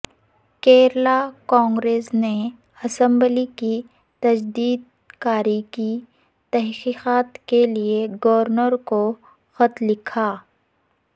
کیرلا کانگریس نے اسمبلی کی تجدید کاری کی تحقیقات کے لئے گورنر کو خط لکھا